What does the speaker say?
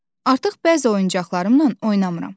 Artıq bəzi oyuncaqlarımla oynamıram.